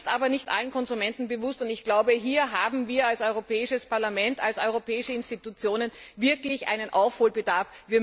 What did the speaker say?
Das ist aber nicht allen Konsumenten bewusst, und ich glaube, hier haben wir als Europäisches Parlament, als europäische Institutionen, wirklich einen Aufholbedarf.